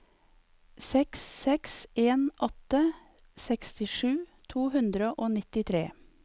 seks seks en åtte sekstisju to hundre og nittitre